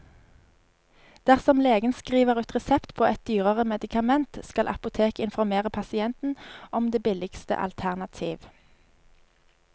Dersom legen skriver ut resept på et dyrere medikament, skal apoteket informere pasienten om det billigste alternativ.